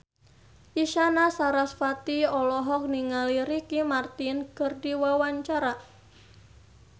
Isyana Sarasvati olohok ningali Ricky Martin keur diwawancara